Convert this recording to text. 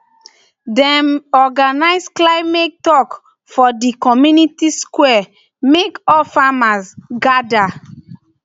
dem organise climate tok for di community square mek all farmers gada